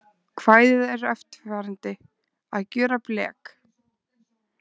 Kvæðið er eftirfarandi: Að gjöra blek